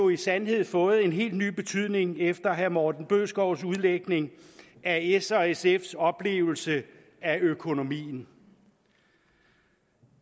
i sandhed fået en helt ny betydning efter herre morten bødskovs udlægning af s og sfs oplevelse af økonomien